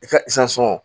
I ka